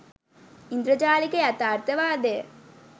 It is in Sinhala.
ඉන්ද්‍රජාලික යථාර්ථවාදය